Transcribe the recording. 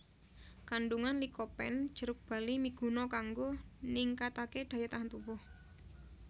Kandungan likopen jeruk bali miguna kanggo ningkataké daya tahan tubuh